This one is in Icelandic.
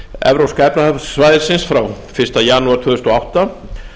evrópska efnahagssvæðisins frá fyrsta janúar tvö þúsund og átta